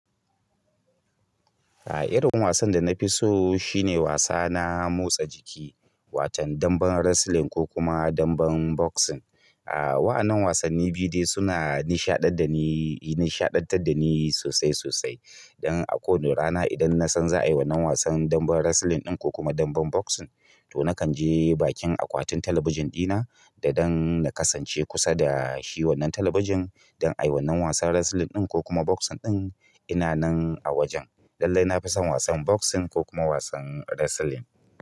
A irin wasan da na fi so shine wasa na motsa jiki, watan damben wrestling ko kuma damben boxing. A waannan wasanni biyu dai suna nishaɗantar da ni, nishaɗantar da ni sosai sosai. Don a kowane rana idan na san za a yi wannan wasan damben wrestling ɗin ko kuma damben boxing, to na kan je bakin akwatin talabijin dina da dan na kasance kusa da shi wannan talabijin, dan a yi wannan wasan wrestling ɗin ko kuma boxing ɗin ina nan a wajen. Lallai na fi son wasan boxing ko kuma wasan wrestling.